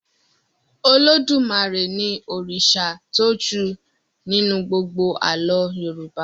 Olódùmarè ní òrìṣà tó jù nínú gbógbó àlọ yorùbá